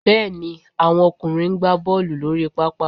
Bẹ́ẹ̀ ni, àwọn ọkùnrin ń gbá Bọ́ọ̀lù lórí pápá